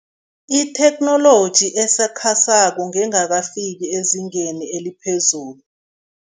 Itheknoloji esakhasako ngengakafiki ezingeni eliphezulu.